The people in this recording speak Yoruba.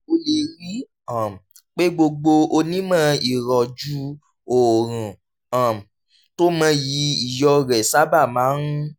o lè rí i um pé gbogbo onímọ̀ ìrọ̀jú oorun um tó mọyì iyọ̀ rẹ̀ sábà máa ń